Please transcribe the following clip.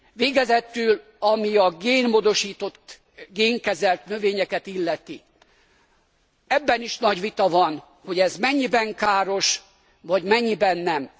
Végezetül, ami a génmódosított, génkezelt növényeket illeti, ebben is nagy vita van, hogy ez mennyiben káros vagy mennyiben nem.